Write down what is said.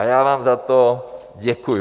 A já vám za to děkuji.